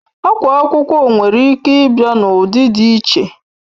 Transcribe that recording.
Akwa akwụkwọ nwere Ike Ibia na ụdị dị iche